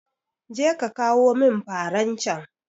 Je ka kawo min faran can